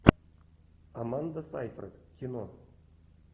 аманда сайфред кино